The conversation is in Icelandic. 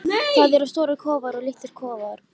Það eru stórir kofar og litlir kofar.